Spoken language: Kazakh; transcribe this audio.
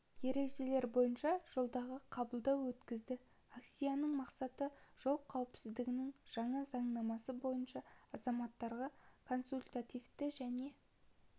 ережелері бойынша жолдағы қабылдау өткізді акцияның мақсаты жол қауіпсіздігінің жаңа заңнамасы бойынша азаматтарға консультативтік және